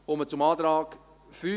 Ich komme zum Antrag 5: